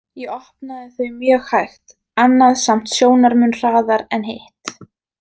Ég opnaði þau mjög hægt, annað samt sjónarmun hraðar en hitt.